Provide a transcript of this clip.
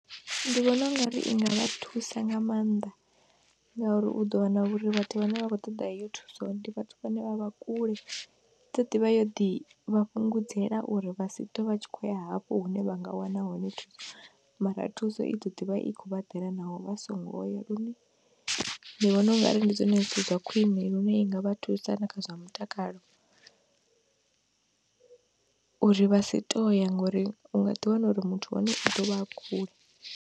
Ndi vhona ungari i nga vha thusa nga maanḓa ngauri u ḓo wana uri vhathu vhane vha khou ṱoḓa heyo thuso ndi vhathu vhane vha vha kule, ḓo ḓivha yo ḓi vha fhungudzela uri vha si ṱwe vha tshi khou ya hafho hune vha nga wana hone thuso, mara thuso i ḓo ḓivha i khou vhaḓela naho vha songo ya lune ndi vhona ungari ndi zwone zwithu zwa khwiṋe lune i nga vha thusa na kha zwa mutakalouri vha si tou ya ngori u nga ḓi wana uri muthu wahone u ḓo vha a kule.